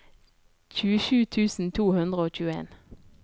tjuesju tusen to hundre og tjueen